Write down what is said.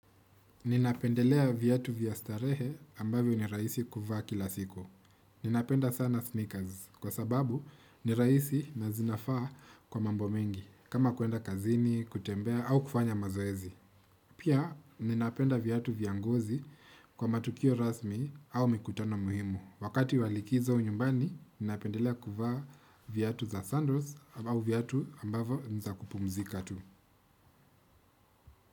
Ninapendelea vyatu vya starehe ambavyo ni raisi kuvaa kila siku. Ninapenda sana sneakers kwa sababu ni raisi na zinafaa kwa mambo mengi kama kuenda kazini, kutembea au kufanya mazoezi. Pia ninapenda vyatu vya ngozi kwa matukio rasmi au mikutano muhimu. Wakati wa likizo nyumbani ninapendelea kuvaa vyatu za sandals au vyatu ambavo ni za kupumzika tu.